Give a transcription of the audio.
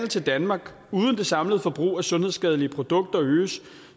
til danmark uden at det samlede forbrug af sundhedsskadelige produkter øges